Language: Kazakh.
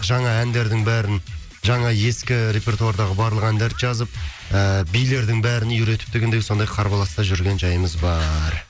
жаңа әндердің бәрін жаңа ескі репертуардағы барлық әндерді жазып ыыы билердің бәрін үйретіп дегендей сондай қарбаласта жүрген жайымыз бар